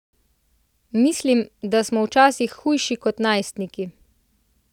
Mislim, da smo včasih hujši kot najstniki!